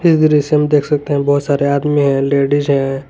इस दृश्य में देख सकते हैं बहुत सारे आदमी है लेडिस है।